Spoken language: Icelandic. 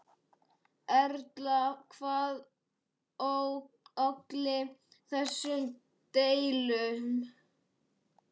Erla, hvað olli þessum deilum?